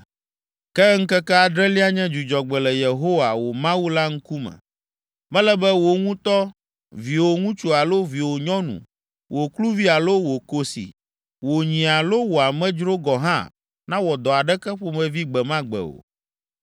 Ke ŋkeke adrelia nye dzudzɔgbe le Yehowa, wò Mawu la ŋkume. Mele be wò ŋutɔ, viwò ŋutsu alo viwò nyɔnu, wò kluvi alo wò kosi, wò nyi alo wò amedzro gɔ̃ hã nawɔ dɔ aɖeke ƒomevi gbe ma gbe o,